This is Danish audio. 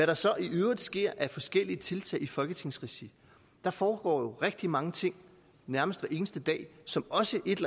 der så i øvrigt sker af forskellige tiltag i folketingsregi foregår der rigtig mange ting nærmest hver eneste dag som også et